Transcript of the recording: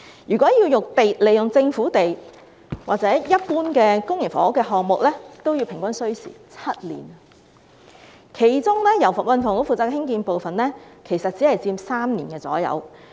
如果使用政府用地，一般公營房屋項目平均也需時7年，其中由運輸及房屋局興建的部分其實只佔3年左右。